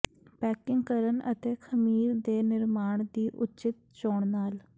packing ਕਰਨ ਅਤੇ ਖਮੀਰ ਦੇ ਨਿਰਮਾਣ ਦੀ ਉੱਚਿਤ ਚੋਣ ਨਾਲ